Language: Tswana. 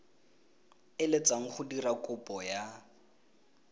eletsang go dira kopo ya